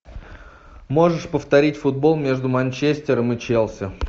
можешь повторить футбол между манчестером и челси